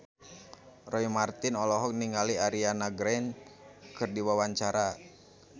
Roy Marten olohok ningali Ariana Grande keur diwawancara